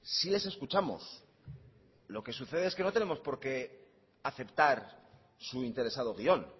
sí les escuchamos lo que sucede es que no tenemos porque aceptar su interesado guion